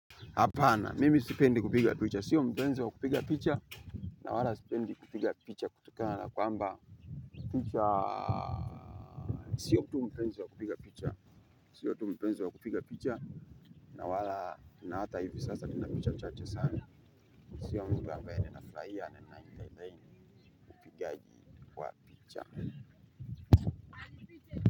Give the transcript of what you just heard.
Hapana, mimi sipendi kupiga picha, sio mpenzi wa kupiga picha. Na wala sipendi kupiga picha kutokana kwamba picha, sio tu mpenzi wa kupiga picha. Sio tu mpenzi wa kupiga picha. Na wala, na hata hivi sasa, nina picha chache sana. Sio mtu ambaye ninafurahia na ninaaentertain upigaji wa picha.